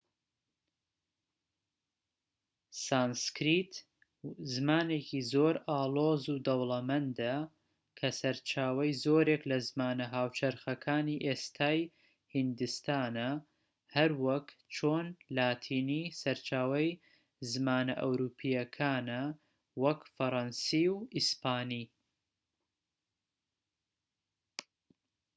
سانسکریت زمانێکی زۆر ئاڵۆز و دەوڵەمەندە کە سەرچاوەی زۆرێک لە زمانە هاوچەرخەکانی ئێستای هیندستانە هەروەک چۆن لاتینی سەرچاوەی زمانە ئەوروپییەکانە وەک فەرەنسی و ئیسپانی